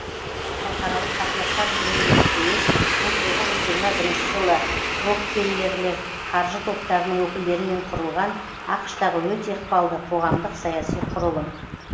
халықаралық қатынастар жөніндегі кеңес мың тоғыз жүз жиырма бірінші жылы рокфеллерлер қаржы топтарының өкілдерімен қүрылған ақш тағы өте ықпалды қоғамдық саяси құрылым